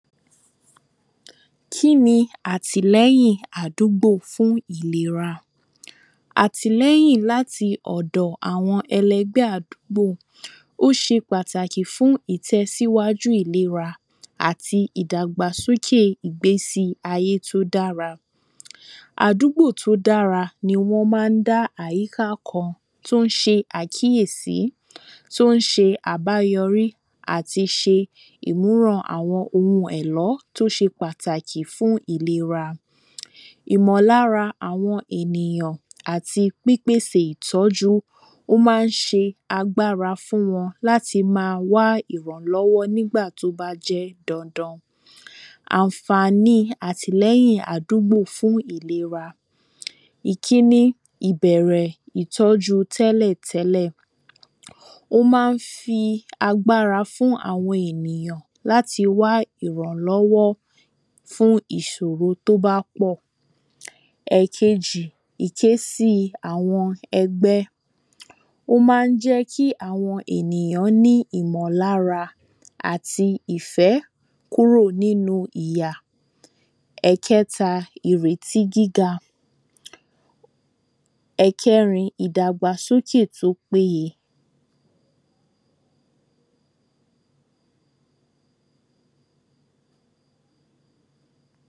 kíni àtìlẹ́yìn àdúgbò fún ìlera àtìlẹ́yìn láti ọ̀dọ̀ àwọn ẹlẹgbẹ́ àdúgbò ó se pàtàkì fún ìtẹ̀síwájú ìlera àti ìdàgbàsókè ìgbésí ayé tó dára àdúgbò tó dára ni wọ́n má n dá àyíká kan tó n se àkíyèsí, tó n se àbáyọrí àti se ìmúràn àwọn oun ẹ̀lọ́ tó se pàtàkì fún ìlera ìmọ̀lára àwọn ènìyàn àti pípèsè ìtọ́jú ó má n se agbára fún wọn láti ma wá ìrànlọ́wọ́ nígbàtí ó bá jẹ́ dandan ànfàníi àtìlẹyìn àdúgbò fún ìlera ìkíní, ìbẹ̀rẹ̀ ìtọ́jú tẹ́lẹ̀tẹ́lẹ̀ ó má n fi agbára fún àwọn ènìyàn láti wá ìrànlọ́wọ́ fún ìsòro tó bá pọ̀ ẹ̀kejì, ìkésí àwọn ẹgbẹ́, ó má n lẹ́ kí àwọn ènìyàn ní ìmọ̀lára àti ìfẹ́ kúrò nínu ìyà ẹ̀kẹta, ìrètí gíga ẹ̀kẹrin, ìdàgbàsókè tó péye